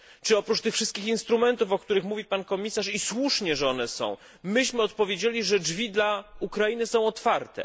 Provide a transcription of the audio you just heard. Czy oprócz tych wszystkich instrumentów, o których mówi pan komisarz i słusznie, że one są myśmy odpowiedzieli, że drzwi dla Ukrainy są otwarte?